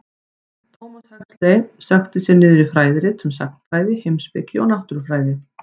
Thomas Huxley sökkti sér niður í fræðirit um sagnfræði, heimspeki og náttúrufræði.